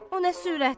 O nə sürət?